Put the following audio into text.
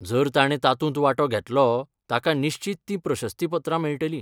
जर ताणें तातूंत वांटो घेतलो, ताका निश्चीत तीं प्रशस्तीपत्रां मेळटलीं.